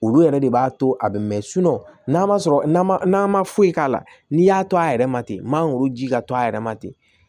Olu yɛrɛ de b'a to a bɛ mɛɛn n'a ma sɔrɔ n'a ma foyi k'a la n'i y'a to a yɛrɛ ma ten mangoro ji ka to a yɛrɛ ma ten